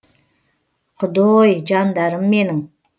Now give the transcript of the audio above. құдой жандарым менің